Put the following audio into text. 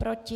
Proti?